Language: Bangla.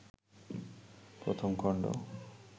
১ম খণ্ড